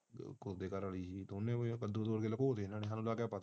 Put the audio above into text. ਦੋਨਾਂ ਨੇ ਕੱਦੂ ਲੁਕਾਅਲਿਆਪਤਾਨਾਲੱਗਾ